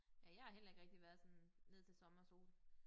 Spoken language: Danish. Ja jeg har heller ikke rigtig været sådan ned til sommer sol